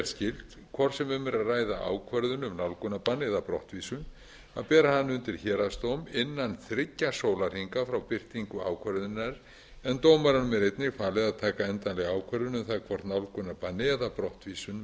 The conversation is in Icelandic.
skylt hvort sem um er að ræða ákvörðun um nálgunarbann eða brottvísun að bera hana undir héraðsdóm innan þriggja sólarhringa frá birtingu ákvörðunar en dómaranum er einnig falið að taka endanlega ákvörðun um það hvort nálgunarbanni eða brottvísun verði